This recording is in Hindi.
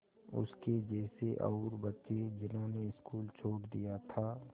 उसके जैसे और बच्चे जिन्होंने स्कूल छोड़ दिया था